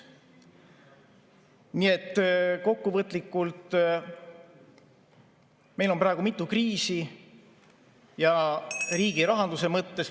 Nii et kokkuvõttes on meil praegu mitu kriisi ja riigirahanduse mõttes ...